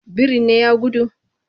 Birin ne ya gudu?